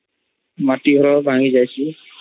ମାଟି ଘର ଭାଂଗୀ ଯାଶୀ